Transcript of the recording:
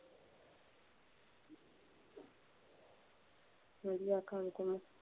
ਵਧੀਆ ਕੰਮ ਕੁਮ।